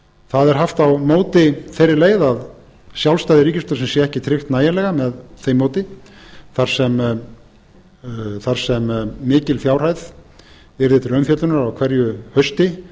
það er haft á móti þeirri leið að sjálfstæði ríkisútvarpsins sé ekki tryggt nægilega með því móti þar sem mikil fjárhæð yrði til umfjöllunar á hverju hausti